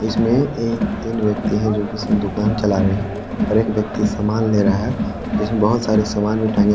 इस्मे एक तीन व्यक्ति है जो कि दुकान चला रहे हैं और एक व्यक्ति समान ले रहा है जिसमें बहुत सारे सारे समान भी टागे हुए--